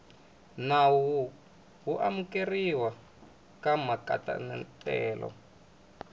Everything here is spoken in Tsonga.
nawu wo amukeriwa ka matekanelo